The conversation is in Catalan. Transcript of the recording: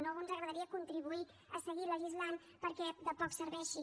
no ens agradaria contribuir a seguir legislant perquè de poc serveixi